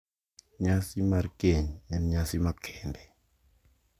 Nyasi mar keny en nyasi makende